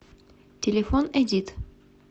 телефон эдит